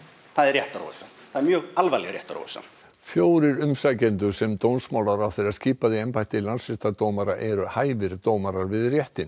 það er réttaróvissa það er mjög alvarleg réttaróvissa fjórir umsækjendur sem dómsmálaráðherra skipaði í embætti landsréttardómara eru hæfir dómarar við réttinn